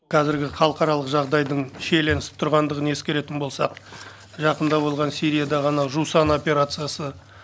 қазіргі халықаралық жағдайдың шиелінісіп тұрғандығын ескеретін болсақ жақында болған сириядағы анау жусан операциясы